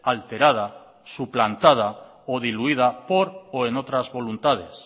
alterada suplantada o diluida por o en otras voluntades